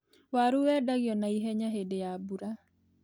Waru wendagio na ihenya hĩndĩ ya mbura.